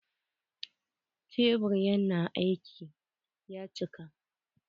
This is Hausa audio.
Tebur na aiki ya cika.